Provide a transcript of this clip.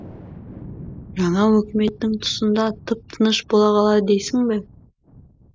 жаңа өкіметтің тұсында тып тыныш бола қалар дейсің бе